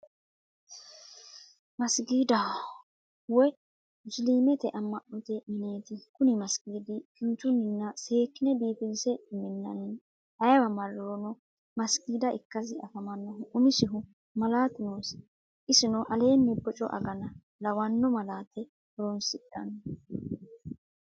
Masijjidaho, woyi musiliimete ama'note mineeti, kuni masijidi kinchuninna seekkine biifinse minnanni ayewa marironno masijida ikkasi anfanihu umisihu malaatu noosi isino aleenni bocco agana lawano malaate horonsidhano